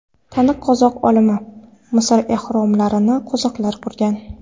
Taniqli qozoq olimi: Misr ehromlarini qozoqlar qurgan.